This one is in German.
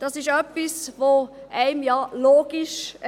Das erscheint einem ja logisch.